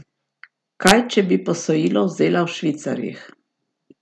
Kaj, če bi posojilo vzela v švicarjih?